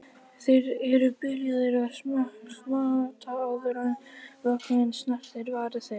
Þeir eru byrjaðir að smjatta áður en vökvinn snertir varir þeirra.